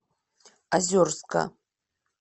озерска